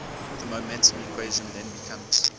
the momentum equation then becomes